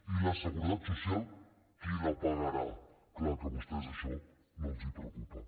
i la seguretat social qui la pagarà clar que a vostès això no els preocupa